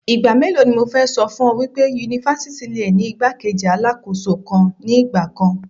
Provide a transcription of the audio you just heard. Ìgbà mélòó ni mo fẹ́ ṣọ fún ọ wípé Yunifásítì le ni igbá-kejì Alákóso kan ní ìgbà kan.